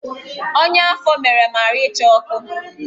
Ọnya afọ mere m ahụ ịcha ọkụ